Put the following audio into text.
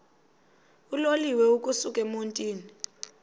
uloliwe ukusuk emontini